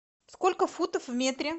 сколько футов в метре